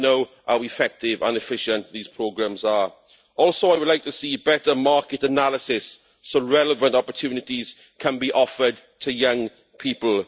We need to know how effective and efficient these programmes are. I would also like to see better market analysis so relevant opportunities can be offered to young people.